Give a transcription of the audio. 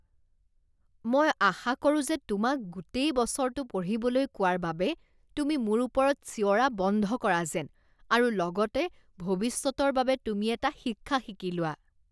মই আশা কৰো যে তোমাক গোটেই বছৰটো পঢ়িবলৈ কোৱাৰ বাবে তুমি মোৰ ওপৰত চিঞৰা বন্ধ কৰা যেন আৰু লগতে ভৱিষ্যতৰ বাবে তুমি এটা শিক্ষা শিকি লোৱা।